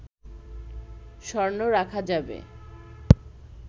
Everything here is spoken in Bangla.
স্বর্ণ রাখা যাবে